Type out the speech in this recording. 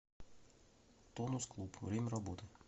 тонус клуб время работы